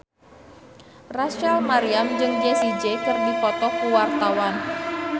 Rachel Maryam jeung Jessie J keur dipoto ku wartawan